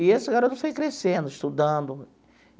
E esse garoto foi crescendo, estudando.